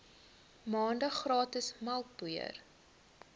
maande gratis melkpoeier